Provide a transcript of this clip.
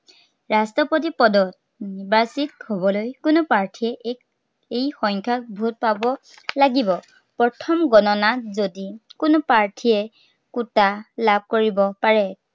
ৰাষ্ট্ৰপতি পদত নিৰ্বাচিত হবলৈ কোনো প্ৰাৰ্থীয়ে এই, এই সংখ্য়া vote পাব লাগিব। প্ৰথম গননাত যদি কোনো প্ৰাৰ্থীয়ে, kota লাভ কৰিব পাৰে।